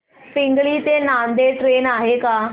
पिंगळी ते नांदेड ट्रेन आहे का